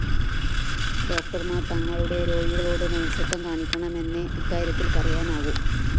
ഡോക്ടര്‍മാര്‍ തങ്ങളുടെ രോഗികളോട്‌ മനുഷ്യത്വം കാണിക്കണമെന്നെ ഇക്കാര്യത്തില്‍ പറയാനാകൂ